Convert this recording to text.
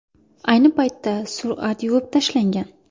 Ayni paytda surat yuvib tashlangan.